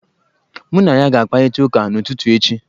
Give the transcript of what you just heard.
Mụ na ya ga-akparịta ụka n'ụtụtụ echi.